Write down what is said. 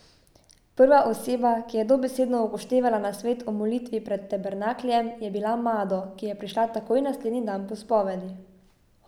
Prva oseba, ki je dobesedno upoštevala nasvet o molitvi pred tabernakljem, je bila Mado, ki je prišla takoj naslednji dan po spovedi.